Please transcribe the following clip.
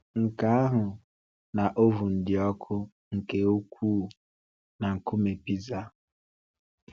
Nke ahụ, na oven dị ọkụ nke ukwuu na nkume pizza.